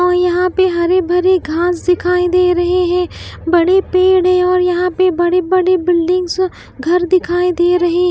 और यहां पे हरी-भरी घास दिखाई दे रहे हैं बड़े पेड़ है और यहां पे बड़ी-बड़ी बिल्डिंग्स घर दिखाई दे रही --